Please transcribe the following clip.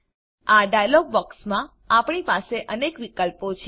આ ડાયલોગ બોક્સમાં આપણી પાસે અનેક વિકલ્પો છે